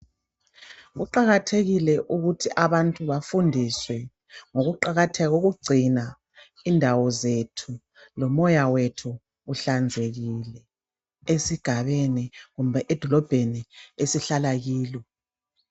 Kuqakathekile ukuthi abantu ,bafundiswe ngokuqakatheka kokugcina indawo zethu .Lomoya wethu uhlanzekile esigabeni kumbe edolobheni esihlala kilo.